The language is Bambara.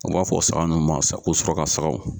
An b'a fɔ saga nunnu ma ko suraka sagaw